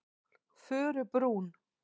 Furubrún